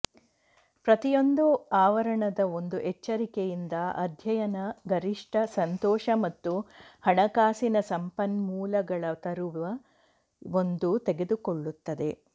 ಪ್ರತಿಯೊಂದು ಆವರಣದ ಒಂದು ಎಚ್ಚರಿಕೆಯಿಂದ ಅಧ್ಯಯನ ಗರಿಷ್ಠ ಸಂತೋಷ ಮತ್ತು ಹಣಕಾಸಿನ ಸಂಪನ್ಮೂಲಗಳ ತರುವ ಒಂದು ತೆಗೆದುಕೊಳ್ಳುತ್ತದೆ